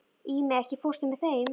Ími, ekki fórstu með þeim?